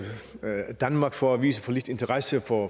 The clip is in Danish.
danmark for at vise for lidt interesse for